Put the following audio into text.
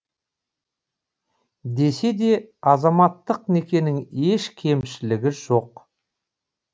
десе де азаматтық некенің еш кемшілігі жоқ